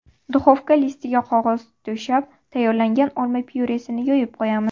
Duxovka listiga qog‘oz to‘shab, tayyorlangan olma pyuresini yoyib qo‘yamiz.